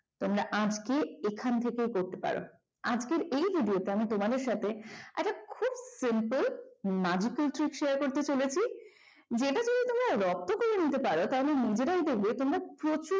তোমরা আজকে এখান থেকে বলতে পারো, আজকের এই ভিডিওটা আমি তোমাদের সাথে একটা খুব simple share করতে চলেছি যেটা দিয়ে তোমরা যদি properly নিতে পারো তাহলে নিজেরাই দেখবে তোমরা প্রচুর